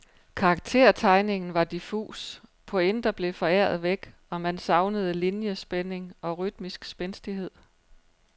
Karaktertegningen var diffus, pointer blev foræret væk, og man savnede liniespænding og rytmisk spændstighed.